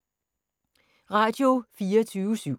Radio24syv